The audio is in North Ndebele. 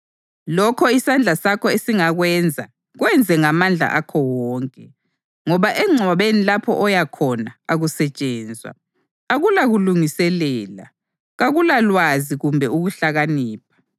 Lokho isandla sakho esingakwenza kwenze ngamandla akho wonke, ngoba engcwabeni lapho oya khona akusetshenzwa, akulakulungiselela, kakulalwazi kumbe ukuhlakanipha.